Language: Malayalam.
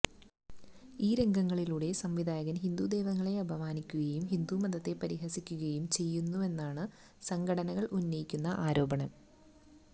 ഈ രംഗങ്ങളിലൂടെ സംവിധായകൻ ഹിന്ദു ദൈവങ്ങളെ ആപമാനിക്കുകയും ഹിന്ദുമതത്തെ പരിഹസിക്കുകയും ചെയ്യുന്നുവെന്നാണ് സംഘടനകൾ ഉന്നയിക്കുന്ന ആരോപണം